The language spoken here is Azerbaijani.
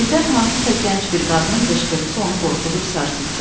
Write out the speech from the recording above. Birdən hansısa gənc bir qadının qışqırtsı onu qorxudub sarsıtdı.